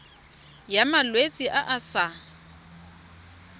ya malwetse a a sa